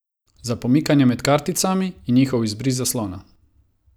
Za pomikanje med karticami in njihov izbris z zaslona.